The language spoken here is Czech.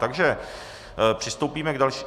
Takže přistoupíme k dalšímu -